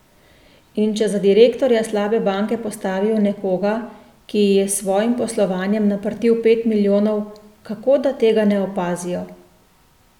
In če za direktorja slabe banke postavijo nekoga, ki ji je s svojim poslovanjem naprtil pet milijonov, kako da tega ne opazijo?